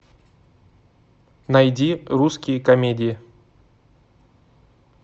найди русские комедии